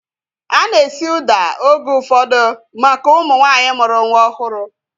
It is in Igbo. Ana esi ụda oge ụfọdụ maka ụmụ nwaanyị mụrụ nwa ọhụrụ